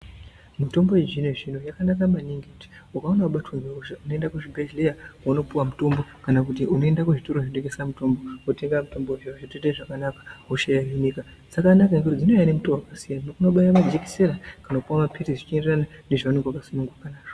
Mitombo yechizvino-zvino yakanaka maningi kuti ukaona vabatwa ngehosha unoenda kuzvibhedhleya vonopuva mutombo. Kana kuti unoenda kuzvitoro zvinotengesa mitombo votenga mitombo zviro zvotoita zvakanaka hosha yohinika. Dzakanaka ngekuti dzinouya nemutoo vakasiyana unobaiva majekisera kana kupuva maphirisi zvichienderana nezvaunenge vakasununguka nazvo.